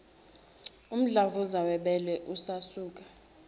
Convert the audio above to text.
umdlavuza webele usasuka